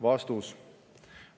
" Vastus.